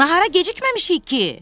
Nahara gecikməmişik ki?